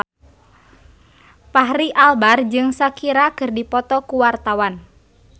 Fachri Albar jeung Shakira keur dipoto ku wartawan